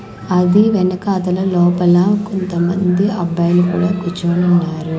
అది వెనకాతల లోపల కొంత మంది అబ్బాయిలు కూడా కూర్చొని ఉన్నారు.